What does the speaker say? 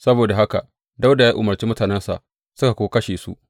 Saboda haka Dawuda ya umarci mutanensa, suka kuwa kashe su.